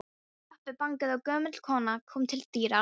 Pabbi bankaði og gömul kona kom til dyra.